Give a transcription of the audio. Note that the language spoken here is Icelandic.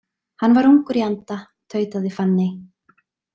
Hann var ungur í anda, tautaði Fanney.